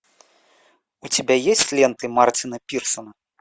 у тебя есть ленты мартина пирсона